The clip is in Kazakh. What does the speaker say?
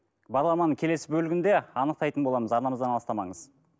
бағдарламаның келесі бөлігінде анықтайтын боламыз арнамыздан алыстамаңыз